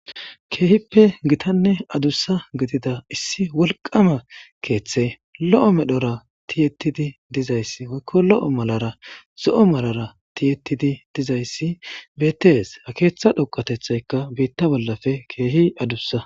keehippe gitanne adussa gidida issi wolqama keeththe lo7o medhora tiyettidi dizayssi woykko lo7o malara zo7o malara tiyettidi dizayssi bettees ha keeththa dhoqatethaykka biitta bollafe keehi adussa